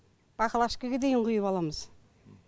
баклашкаға дейін құйып аламыз